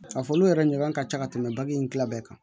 Ka fɔ olu yɛrɛ ɲɔgɔn ka ca ka tɛmɛ bagan in kila bɛɛ kan